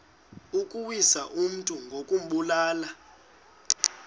ukuwisa umntu ngokumbulala